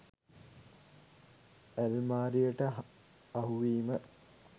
ඇල්මාරියට අහුවීම